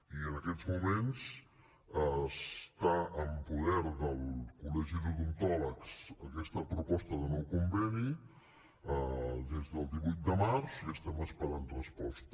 i en aquests moments està en poder del col·legi d’odontòlegs aquesta proposta de nou conveni des del divuit de març i estem esperant resposta